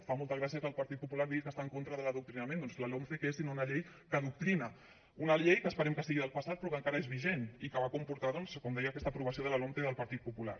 fa molta gràcia que el partit popular digui que està en contra de l’adoctrinament doncs la lomce què és sinó una llei que adoctrina una llei que esperem que sigui del passat però que encara és vigent i que va comportar doncs com deia aquesta aprovació de la lomce del partit popular